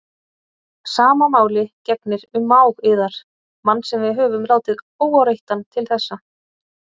Sama máli gegnir um mág yðar, mann sem við höfum látið óáreittan til þessa.